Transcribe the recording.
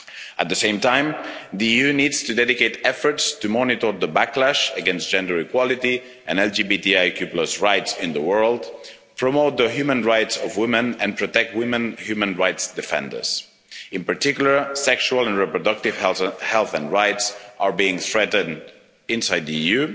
At the same time the EU needs to dedicate efforts to monitor the backlash against gender equality and LGBTIQ rights in the world, promote the human rights of women and protect women human rights defenders. In particular, sexual and reproductive health and rights are being threatened inside the